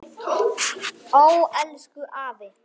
Ó, elsku afi.